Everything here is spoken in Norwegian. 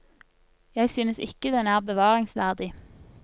Jeg synes ikke den er bevaringsverdig.